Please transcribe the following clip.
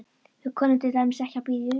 Við kunnum til dæmis ekki að bíða í röð.